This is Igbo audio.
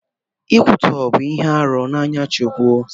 Nkwụtọ bu ihe arụ n'anya Chineke.